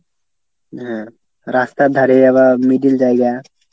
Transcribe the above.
যে রাস্তার ধারে আবার middle জায়গা।